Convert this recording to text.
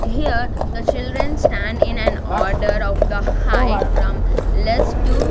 here the children stand in an order of the height from less to--